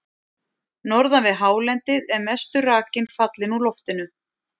Norðan við hálendið er mestur rakinn fallinn úr loftinu.